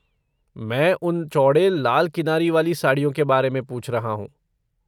मैं उन चौड़े लाल किनारी वाली साड़ियों के बारे में पूछ रहा हूँ।